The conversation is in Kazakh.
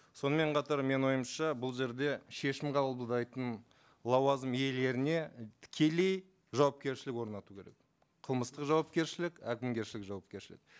сонымен қатар менің ойымша бұл жерде шешім қабылдайтын лауазым иелеріне і тікелей жауапкершілік орнату керек қылмыстық жауапкершілік әкімгершілік жауапкершілік